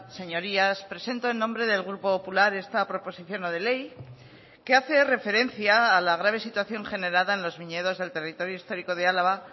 señorías presento en nombre del grupo popular esta proposición no de ley que hace referencia a la grave situación generada en los viñedos del territorio histórico de álava